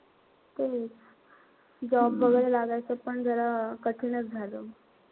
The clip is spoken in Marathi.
तेच. Job वैगेरे लागायचं पण जरा कठीणच झालं.